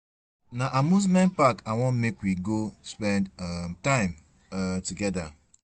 Na amusement park I wan make we go spend um time um togeda.